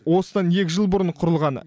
осыдан екі жыл бұрын құрылған